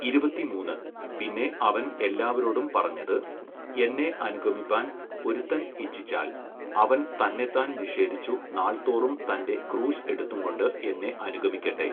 ഇരുപത്തിമൂന്ന്, പിന്നെ അവൻ എല്ലാവരോടും പറഞ്ഞത്, എന്നെ അനുഗമിപ്പാൻ ഒരുത്തൻ ഇച്ഛിച്ചാൽ അവൻ തന്നെത്താൻ നിഷേധിച്ചു നാൾതോറും തന്റെ ക്രൂശ് എടുത്തുംകൊണ്ട് എന്നെ അനുഗമിക്കട്ടെ.